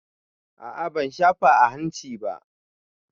A a ban shafa a hanci ba.